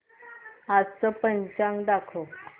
आजचं पंचांग दाखव